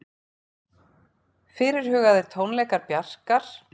Fyrirhugaðir tónleikar Bjarkar